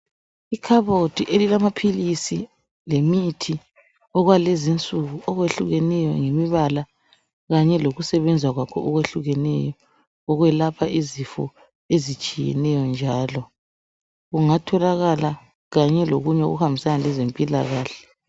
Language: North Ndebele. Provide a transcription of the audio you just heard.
Ikhabothi elilamaphilisi lemithi okwalezinsuku okwehlukeneyo ngemibala kanye lokusebenza kwakho okwehlukeneyo ukwelapha izifo ezitshiyeneyo njalo kungatholakala kanye lokunye okuhambisana lezempilakahle